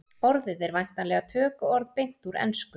orðið er væntanlega tökuorð beint úr ensku